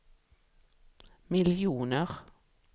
miljoner